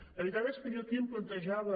la veritat és que jo aquí em plantejava